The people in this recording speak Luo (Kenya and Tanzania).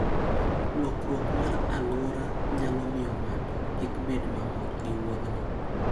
Lokruok mar alwora nyalo miyo ng'ato kik bed mamor gi wuodhno.